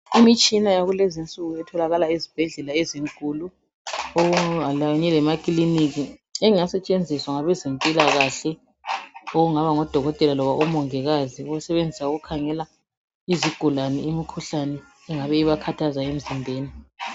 imitshina yakulezinsuku itholakala ezibhedlela ezinkulu lasemaklinika engasetshenziswa ngabe zempilakahle okungaba ngodokotela kumbe omongikazi ukusebenzisa ukukhangela izigulane imikhuhlane engabe ibakhathaza emzimbeni.